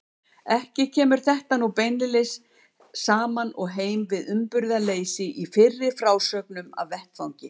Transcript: Ekki kemur þetta nú beinlínis saman og heim við uppburðarleysið í fyrri frásögnum af vettvangi.